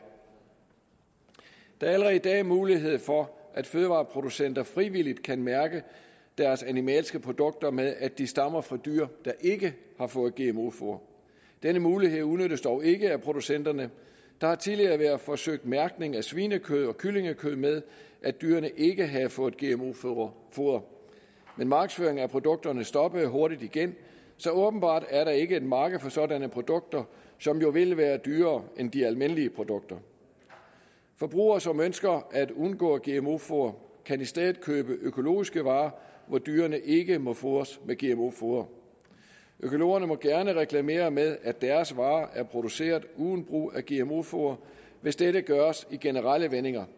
der er allerede i dag mulighed for at fødevareproducenter frivilligt kan mærke deres animalske produkter med at de stammer fra dyr der ikke har fået gmo foder denne mulighed udnyttes dog ikke af producenterne der har tidligere været forsøgt mærkning af svinekød og kyllingekød med at dyrene ikke havde fået gmo foder men markedsføringen af produkterne stoppede hurtigt igen så åbenbart er der ikke et marked for sådanne produkter som jo vil være dyrere end de almindelige produkter forbrugere som ønsker at undgå gmo foder kan i stedet købe økologiske varer hvor dyrene ikke må fodres med gmo foder økologerne må gerne reklamere med at deres varer er produceret uden brug af gmo foder hvis dette gøres i generelle vendinger